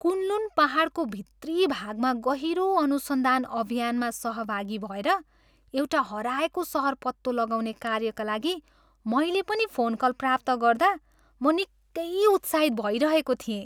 Kunlun पाहाडको भित्री भूभागमा गहिरो अनुसन्धान अभियानमा सहभागी भएर एउटा हराएको सहर पत्तो लगाउने कार्यका लागि मैले पनि फोनकल प्राप्त गर्दा म निकै उत्साहित भइरहेको थिएँ।